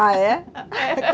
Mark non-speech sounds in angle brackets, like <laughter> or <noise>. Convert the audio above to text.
Ah, é? <laughs>